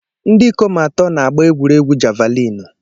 Ndị ikom atọ na-agba egwuregwu jàvàlịnụ